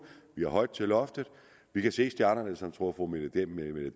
vi har højt til loftet vi kan se stjernerne som jeg tror at fru mette